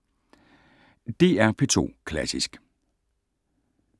DR P2 Klassisk